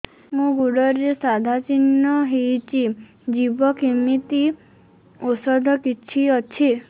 ମୋ ଗୁଡ଼ରେ ସାଧା ଚିହ୍ନ ହେଇଚି ଯିବ କେମିତି ଔଷଧ କିଛି ଅଛି